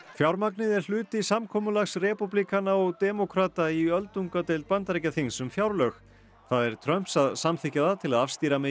fjármagnið er hluti samkomulags repúblikana og demókrata í öldungadeild Bandaríkjaþings um fjárlög það er Trumps að samþykkja það til að afstýra megi